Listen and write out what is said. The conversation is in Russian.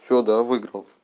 всё да я выйграл